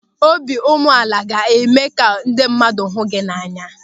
Obiụmeala ga-eme ka ndị mmadụ hụ gị n'anya.